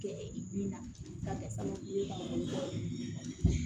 Kɛ e bin na k'a kɛ sababu ye ka wari bɔ